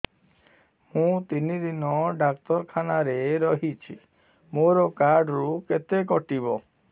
ମୁଁ ତିନି ଦିନ ଡାକ୍ତର ଖାନାରେ ରହିଛି ମୋର କାର୍ଡ ରୁ କେତେ କଟିବ